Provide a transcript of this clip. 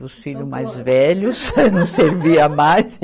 Dos filhos mais velhos não servia mais.